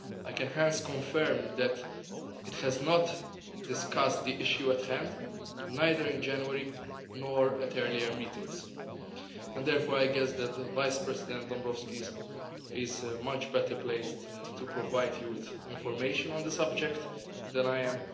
I can hence confirm that it has not discussed the issue at hand, neither in January nor at earlier meetings, and therefore I guess that Vice President Dombrovskis is much better placed to provide you with information on the subject than I am.